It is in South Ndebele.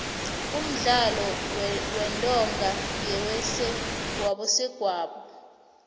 umdlalo wentonga ngewabesegwabo